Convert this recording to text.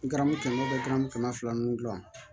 Ngaramu kɛmɛ o bɛ garamu kɛmɛ fila ninnu dilan